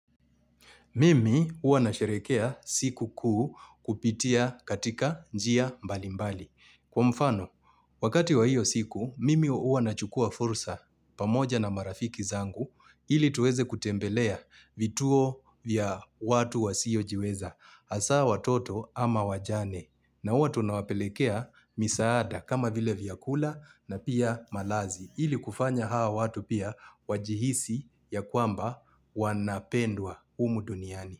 Mimi huwa na sheherekea siku kuu kupitia katika njia mbali mbali. Kwa mfano, wakati wa hiyo siku, mimi huwa na chukua fursa pamoja na marafiki zangu ili tuweze kutembelea vituo vya watu wa siyo jiweza, hasaa watoto ama wajane na huwa tuna wapelekea misaada kama vile vyakula na pia malazi. Ili kufanya hao watu pia wajihisi ya kwamba wanapendwa humu duniani.